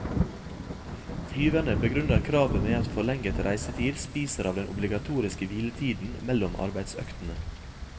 Flyverne begrunner kravet med at forlenget reisetid spiser av den obligatoriske hviletiden mellom arbeidsøktene.